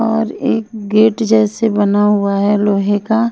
और एक गेट जैसे बना हुआ है लोहे का।